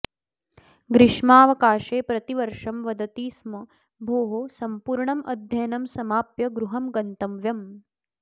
ग्रीष्मावकाशे प्रतिवर्षं वदति स्म भोः सम्पूर्णं अध्ययनं समाप्य गृहं गन्तव्यम्